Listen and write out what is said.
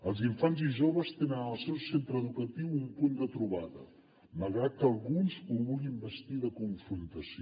els infants i joves tenen al seu centre educatiu un punt de trobada malgrat que alguns ho vulguin vestir de confrontació